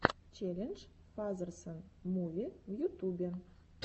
челлендж фазерсон муви в ютубе